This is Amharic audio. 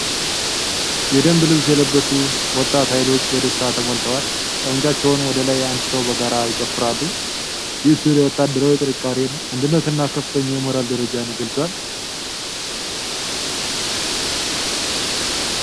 የደንብ ልብስ የለበሱ ወጣት ኃይሎች በደስታ ተሞልተዋል። ጠመንጃዎቻቸውን ወደ ላይ አንስተው በጋራ ይጨፍራሉ። ይህ ሥዕል የወታደራዊ ጥንካሬን፣ አንድነትንና ከፍተኛ የሞራል ደረጃን ይገልፃል።